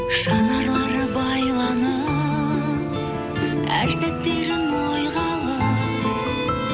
жанарлары байланып әр сәттерін ойға алып